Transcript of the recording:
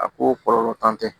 A ko kɔlɔlɔ t'an tɛ